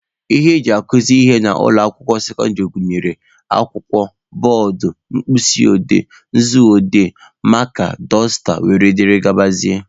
Ihe eji akụzị ihe n'ụlọ akwụkwọ sekọndịrị gụnyere akwụkwọ, bọọdụ, mkpịsị odee/nzu odee, maaka, dọsta wdg